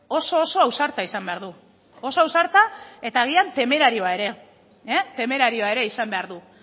oso oso ausarta izan behar du oso ausarta eta agian temerarioa ere temerarioa ere izan behar du